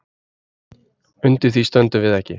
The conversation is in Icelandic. Undir því stöndum við ekki